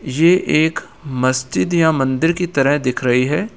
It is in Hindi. ये एक मस्जिद या मंदिर की तरह दिख रही है।